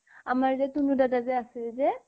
আমাৰ যে তুনু দাদা যে আছিল যে